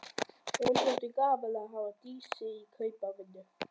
Honum þótti gaman að hafa Dísu í kaupavinnu.